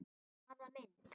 Hvaða mynd?